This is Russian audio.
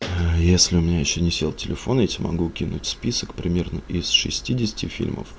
а если у меня ещё не сел телефон я тебе могу кинуть список примерно из шестидесяти фильмов